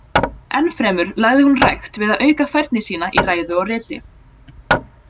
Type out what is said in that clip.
Enn fremur lagði hún rækt við að auka færni sína í ræðu og riti.